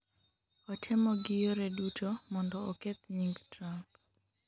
otemo gi yore duto mondo oketh nying Trump